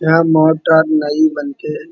यहाँ मोटर नई बनके --